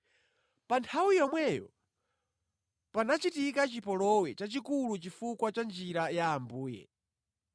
Pa nthawi yomweyo panachitika chipolowe chachikulu chifukwa cha Njira ya Ambuye.